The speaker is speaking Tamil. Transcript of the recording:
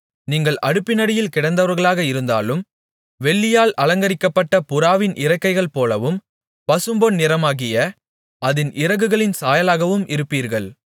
நீங்கள் அடுப்பினடியில் கிடந்தவர்களாக இருந்தாலும் வெள்ளியால் அலங்கரிக்கப்பட்ட புறாவின் இறக்கைகள் போலவும் பசும்பொன் நிறமாகிய அதின் இறகுகளின் சாயலாகவும் இருப்பீர்கள்